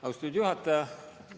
Austatud juhataja!